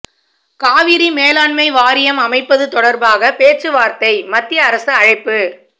காவிரி மேலாண்மை வாரியம் அமைப்பது தொடர்பாக பேச்சுவார்த்தை மத்திய அரசு அழைப்பு